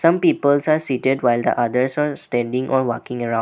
some peoples are seated while the others are standing or walking around--